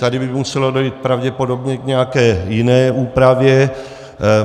Tady by muselo dojít pravděpodobně k nějaké jiné úpravě.